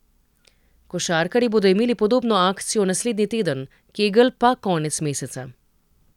Košarkarji bodo imeli podobno akcijo naslednji teden, Kegl pa konec meseca.